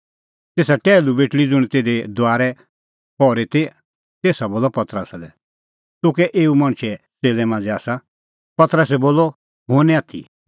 तेसा टैहलू बेटल़ी ज़ुंण तिधी दुआरै पहरी ती तेसा बोलअ पतरसा लै तूह कै एऊ मणछे च़ेल्लै मांझ़ै आसा पतरसै बोलअ नांईं हुंह निं आथी